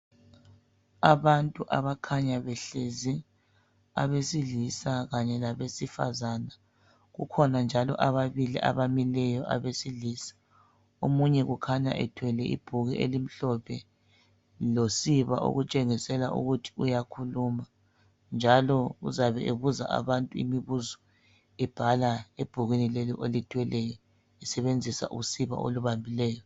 Abantu abakhanya behlezi abesilisa kanye labesifazana, kukhona njalo ababili abamileyo abesilisa omunye ukhanya ethwele ibhuku elimhlophe losiba okutshengisela ukuthi uyakhuluma njalo uzabe ebuza abantu imibuzo ebhala ebhukwini leli olithweleyo esebenzisa usiba olubambileyo.